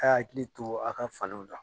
A' y'a hakili to a' ka faliw la.